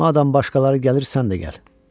Madam başqaları gəlir, sən də gəl.